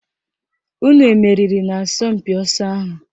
Unu emeriri n'asọmpị ọsọ ahụ?